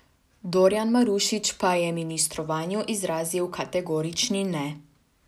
Dorjan Marušič pa je ministrovanju izrazil kategorični ne.